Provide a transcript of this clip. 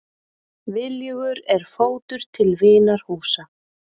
Viljugur er fótur til vinar húsa.